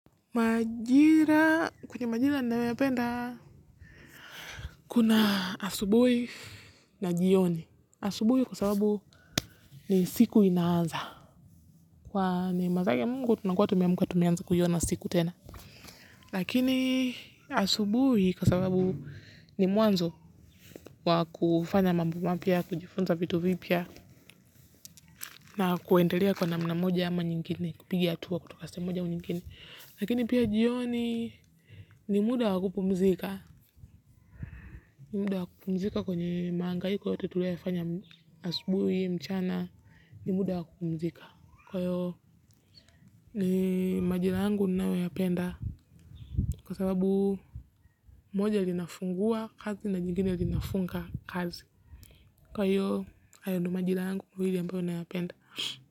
Maajira, kwenye majira ninayoyapenda, kuna asubuhi na jioni. Asubuhi kwa sababu ni siku inaanza. Kwa neema zake mungu, tunakua tumeamka tumeanza kuiona siku tena. Lakini asubuhi kwa sababu ni mwanzo wa kufanya mambo mapya ya kujifunza vitu vipya, na kuendelea kwa namna moja ama nyingine, kupigia tu wa kutoka saa moja au nyingine. Lakini pia jioni ni muda wakupumzika. Ni muda wa kupumzika kwenye maangaiko yote tulioyafanya asbuwi mchana ni muda wa kupumzika kwa hiyo ni majila yangu ninayoyapenda kwa sababu moja linafungua kazi na nyingine linafunga kazi kwa hiyo hayo ndo majila yangu mawili ambayo ninaya penda.